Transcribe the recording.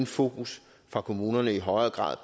fokus for kommunerne i højere grad